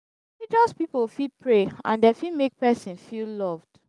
religious pipo fit pray and dem fit make person feel loved